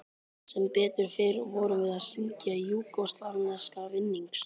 Sem betur fer vorum við að syngja júgóslavneska vinnings